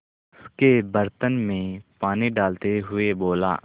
उसके बर्तन में पानी डालते हुए बोला